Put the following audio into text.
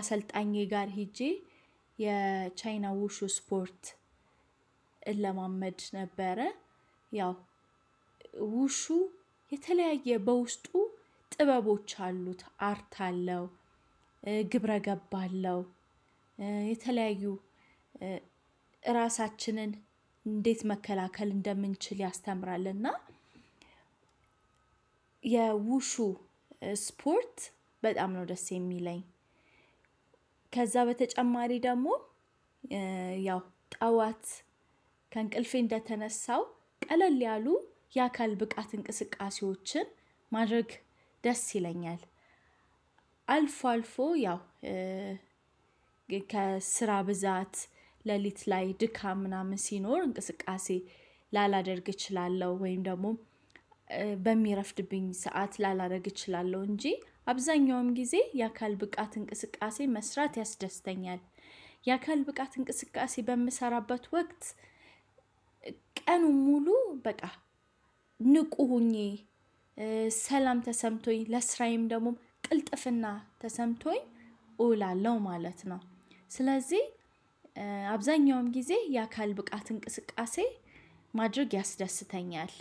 አሰልጣኜ ጋር ሄጄ የቻይና ውሹ ስፖርት እለማመድ ነበረ። ያው ውሹ የተለያየ በውስጡ ጥበቦች አሉት አርት አለው። ግብረ ገብ አለው። የተለያዩ ራሳችንን እንዴት መከላከል እንደምንችል ያስተምራል። እና የውሹ ስፖርት በጣም ነው ደስ የሚለኝ። ከዛ በተጨማሪ ደግሞ ያው ጠዋት ከእንቅልፌ እንደተነሳው ቀለል ያሉ የአካል ብቃት እንቅስቃሴዎችን ማድረግ ደስ ይለኛል። አልፎ አልፎ ያው ከስራ ብዛት ሌሊት ላይ ድካም ምናምን ሲኖር እንቅስቃሴ ላላደርግ እችላለሁ ወይም ደግሞ በሚረፍድብኝ ሰዓት ላላደርግ እችላለሁ እንጂ አብዛኛውም ጊዜ የአካል ብቃት እንቅስቃሴ መስራት ያስደስተኛል። የአካል ብቃት እንቅስቃሴ በምሰራበት ወቅት ቀኑን ሙሉ በቃ ንቁ ሆኜ ሰላም ተሰምቶኝ ለስራዬም ደግሞ ቅልጥፍና ተሰምቶኝ እውላለሁ ማለት ነው። ስለዚህ አብዛኛውም ጊዜ የአካል ብቃት እንቅስቃሴ ማድረግ ያስደስተኛል።